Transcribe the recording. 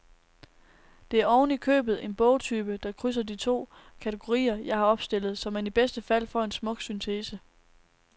Det er ovenikøbet en bogtype, der krydser de to kategorier, jeg har opstillet, så man i bedste fald får en smuk syntese.